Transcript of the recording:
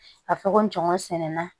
A fɔ ko ngɔnɛna